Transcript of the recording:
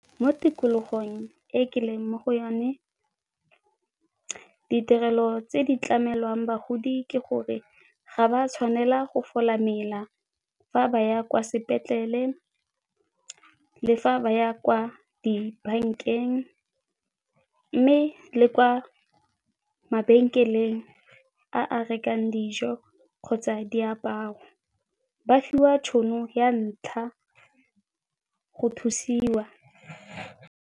Mo tikologong e ke leng mo go yone ditirelo tse di tlamelwang bagodi ke gore ga ba tshwanela go fola mela fa ba ya kwa sepetlele le fa ba ya kwa dibankeng. Mme le kwa mabenkeleng a a rekang dijo kgotsa diaparo, ba fiwa tšhono ya ntlha go thusiwa.